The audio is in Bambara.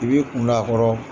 I b'i kun don a kɔrɔ.